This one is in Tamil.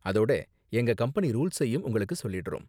அதோட எங்க கம்பெனி ரூல்ஸையும் உங்களுக்கு சொல்லிடுறோம்.